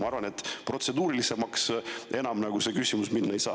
Ma arvan, et protseduurilisem enam üks küsimus olla ei saa.